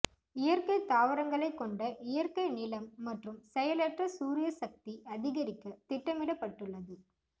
இயற்கை தாவரங்களைக் கொண்ட இயற்கை நிலம் மற்றும் செயலற்ற சூரிய சக்தி அதிகரிக்க திட்டமிடப்பட்டுள்ளது